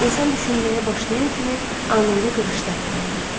İnsan düşünməyə başlayan kimi anında qırışlar yaranır.